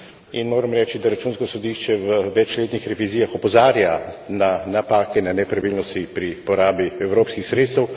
In moram reči, da Računsko sodišče v večletnih revizijah opozarja na napake, na nepravilnosti pri porabi evropskih sredstev.